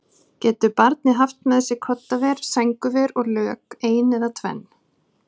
Getur barnið haft með sér koddaver, sængurver og lök, ein eða tvenn?